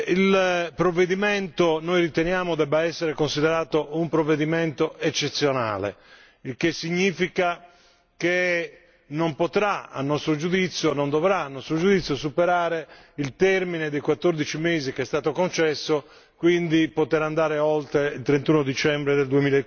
Il provvedimento noi riteniamo debba essere considerato un provvedimento eccezionale, il che significa non dovrà a nostro giudizio superare il termine dei 14 mesi che è stato concesso, quindi poter andare oltre il 31 dicembre del